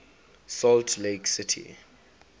salt lake city